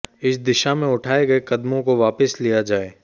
इस दिशा में उठाए गये कदमों को वापस लिया जाए